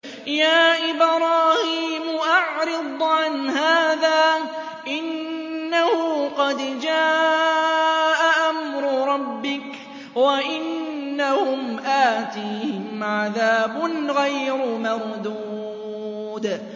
يَا إِبْرَاهِيمُ أَعْرِضْ عَنْ هَٰذَا ۖ إِنَّهُ قَدْ جَاءَ أَمْرُ رَبِّكَ ۖ وَإِنَّهُمْ آتِيهِمْ عَذَابٌ غَيْرُ مَرْدُودٍ